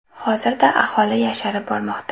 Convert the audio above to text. Hozirda aholi yosharib bormoqda.